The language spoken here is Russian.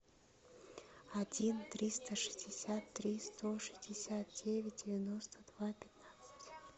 один триста шестьдесят три сто шестьдесят девять девяносто два пятнадцать